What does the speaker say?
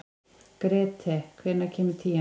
Grethe, hvenær kemur tían?